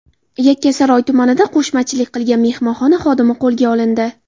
Yakkasaroy tumanida qo‘shmachilik qilgan mehmonxona xodimi qo‘lga olindi.